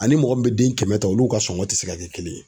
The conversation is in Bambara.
Ani mɔgɔ min bɛ den kɛmɛ ta olu ka sɔngɔn tɛ se ka kɛ kelen ye